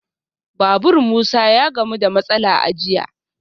Babur Musa ya gamu da matsala a jiya